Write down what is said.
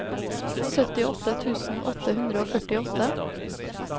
syttiåtte tusen åtte hundre og førtiåtte